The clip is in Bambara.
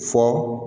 Fɔ